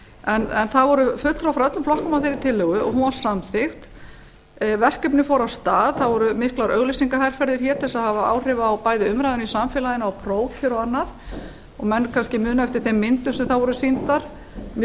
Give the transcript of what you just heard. en það voru fulltrúar frá öllum flokkum á þeirri tillögu og hún var samþykkt verkefnin fóru af stað það voru miklar auglýsingaherferðir hér til að hafa áhrif bæði á umræðuna í samfélaginu og prófkjör og annað og menn kannski muna eftir þeim myndum sem þá voru sýndar mjög